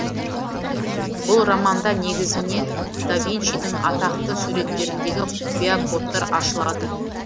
бұл романда негізінен да винчидың атақты суреттеріндегі құпия кодтар ашылады